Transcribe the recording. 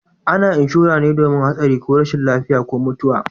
A na inshora me domin hatsari ko rashin lafiya ko mutuwa